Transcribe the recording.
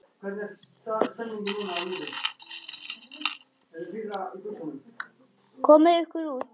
Komiði ykkur út.